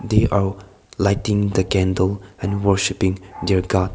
they all lighting the candle and worshipping their god.